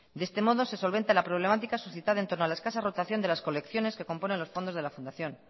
de este modo se solventa la problemática suscitada entorno a las casas rotación de las colecciones que componen los fondos de la fundación